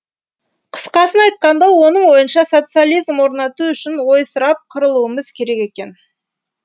қысқасын айтқанда оның ойынша социализм орнату үшін ойсырап қырылуымыз керек екен